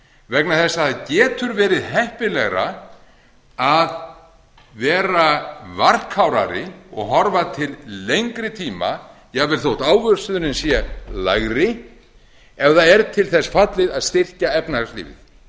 vegna þess að það getur verið heppilegra að vera varkárari og horfa til lengi tíma jafnvel þó ávöxtunin sé lægri ef það er til þess fallið að styrkja efnahagslífið